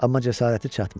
Amma cəsarəti çatmır.